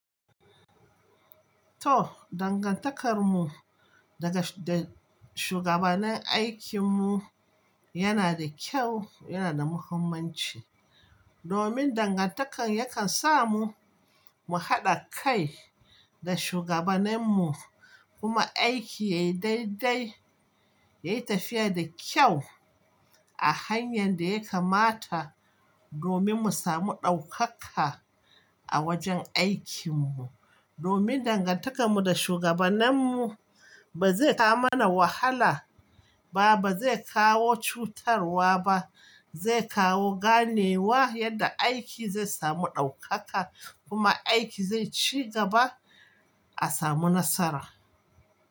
To, dangantakarmu daga da shugabannin aikinmu yana da kyau, yana da muhimmanci. Domin dangantakar yakan sa mu, mu haɗa kai da shugabanenmu kuma aiki yayi daidai, yayi tafiya da kyau a hanyar da ya kamata domin mu samu ɗaukaka a wajen aikinmu. Domin dangantakarmu da shugabanenmu ba zai kawo mana wahala ba, ba zai kawo cutarwa ba, zai kawo ganewa yadda aiki zai samu ɗaukaka kuma aiki zai ci gaba a samu nasara.